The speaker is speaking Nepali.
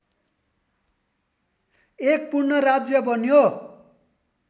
एक पूर्ण राज्य बन्यो